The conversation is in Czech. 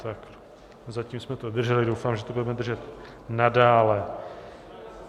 Tak zatím jsme to drželi, doufám, že to budeme držet nadále.